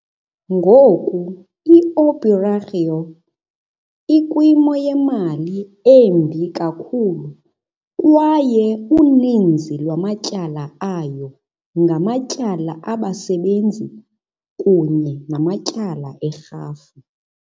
Ngoku iOperário ukwimali embi kakhulu kwaye uninzi lwamatyala ayo ngamatyala abasebenzi kunye namatyala erhafu.